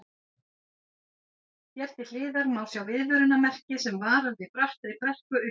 Hér til hliðar má sjá viðvörunarmerki sem varar við brattri brekku upp á við.